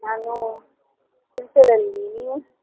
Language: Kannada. ನಾನು ಕೆಲಸದಲ್ಲಿ ನೀವು?